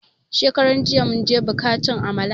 Shekaran jiya mun je buka cin Amala